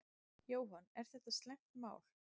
Jóhann: Er þetta slæmt mál?